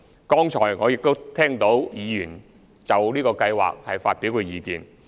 剛才我亦都聽到議員就這計劃發表意見。